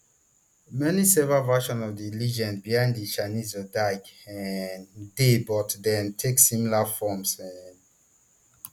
many several versions of di legend behind di chinese zodiac um dey but dem take similar forms um